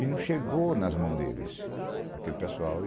E não chegou nas mãos deles, aquele pessoal.